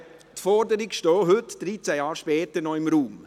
Die Forderung steht auch heute, 13 Jahre später, noch im Raum.